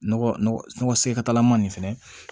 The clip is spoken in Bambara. Nɔgɔ nɔgɔ sentalama nin fɛnɛ